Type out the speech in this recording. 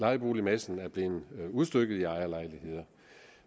lejeboligmassen er blevet udstykket i ejerlejligheder